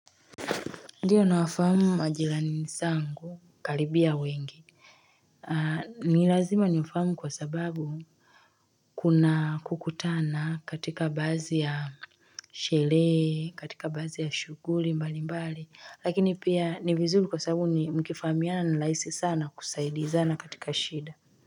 Ndiyo na wafahamu majirani zangu karibia wengi ni lazima niwafahamu kwa sababu Kuna kukutana katika baadhi ya Sherehe katika baadhi ya shughuli mbali mbali lakini pia ni vizuri kwa sababu ni mkifahamiana ni rahisi sana kusaidizana katika shida.